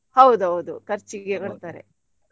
ಹೌದೌದು ಖರ್ಚಿಗೆ ಕೊಡ್ತಾರೆ.